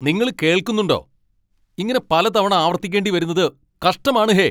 നിങ്ങള് കേൾക്കുന്നുണ്ടോ? ഇങ്ങനെ പലതവണ ആവർത്തിക്കേണ്ടി വരുന്നത് കഷ്ടമാണ് ഹേ.